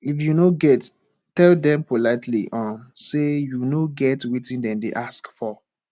if you no get tell them politely um sey you no get wetin dem dey ask for